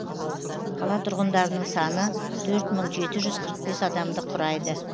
қала тұрғындарының саны төрт мың жеті жүз қырық бес адамды құрайды